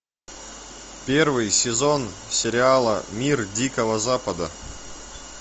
первый сезон сериала мир дикого запада